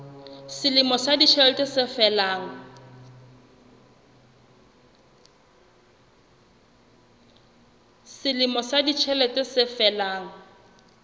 selemo sa ditjhelete se felang